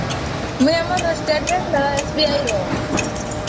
ମୁଇ ଆମର state bank SBI ର